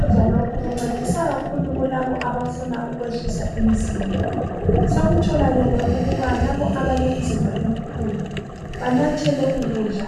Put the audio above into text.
Ukudla lokhu kuncedisa labo abafuna ukwehlisa umzimba. Sekutholakele ukuba labo abalemizimba emikhulu banathe lokhu kudla